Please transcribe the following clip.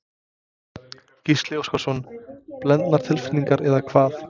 Gísli Óskarsson: Blendnar tilfinningar eða hvað?